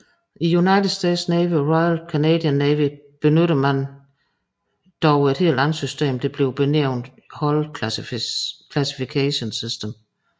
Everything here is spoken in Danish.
I United States Navy og Royal Canadian Navy benytter man dog et andet system der bliver benævnt Hull Classification System